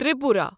Tripura